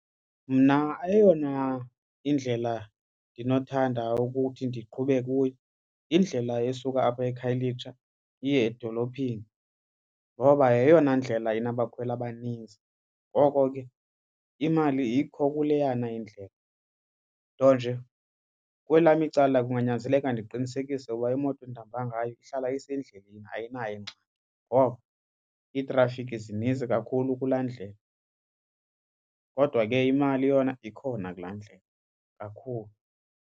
Mna eyona indlela ndinothanda ukuthi ndiqhube kuyo yindlela esuka apha eKhayelitsha iye edolophini ngoba yeyona ndlela inabakhweli abaninzi. Ngoko ke imali ikho kuleyana indlela. Nto nje kwelam icala kunganyanzeleka ndiqinisekise ukuba imoto endihamba ngayo ihlala isendlini ayinayo ingxaki, ngoko iitrafikhi zininzi kakhulu kulaa ndlela. Kodwa ke imali yona ikhona kulaa ndlela kakhulu.